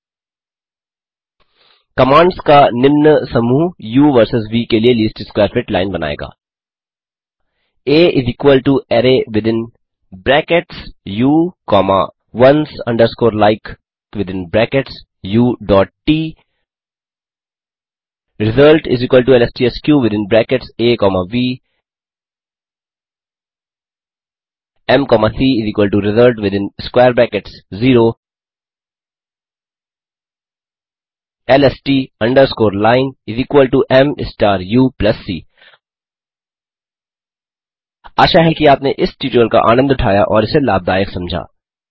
2कमांड्स का निम्न समूह उ वर्सेस व के लिए लीस्ट स्कवैर फिट लाइन बनाएगा a array within brackets u comma ones underscore like within brackets out result L S T S K within brackets a comma v m comma c result within square brackets 0 L S T underscore line m star u plus c आशा है कि आपने इस tutorial का आनंद उठाया और इसे लाभदायक समझा